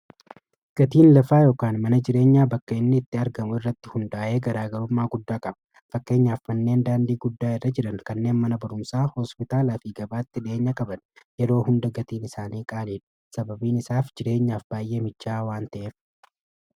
gatiin lafaa yookaan mana jireenyaa bakka'inni itti argamu irratti hundaa'ee garaagarummaa guddaa qaba fakkeenya affanneen daandii guddaa irra jiran kanneen mana barumsaa hospitaalaa fi gabaatti dhieenya qaban yeroo hunda gatiin isaanii qaaleid sababiin isaaf jireenyaaf baay'ee micaa waan ta'ef